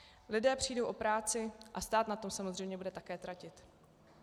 Lidé přijdou o práci a stát na tom samozřejmě bude také tratit.